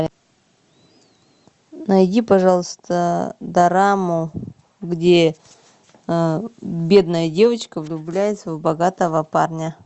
найди пожалуйста дораму где бедная девочка влюбляется в богатого парня